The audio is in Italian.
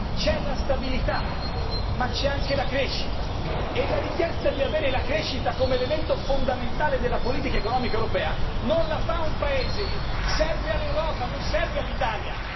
C'è la stabilità ma c'è anche la crescita e la richiesta di avere la crescita come elemento fondamentale della politica economica europea non la fa un Paese serve all'Europa non serve all'Italia.